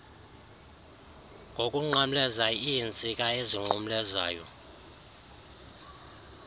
ngokunqamleza iintsika ezinqumlezayo